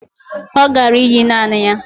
Ọ gara íyí naanị ya